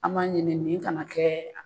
An b'a ɲini nin kana kɛɛ